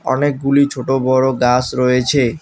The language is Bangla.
অনেকগুলি ছোট বড় গাস রয়েছে।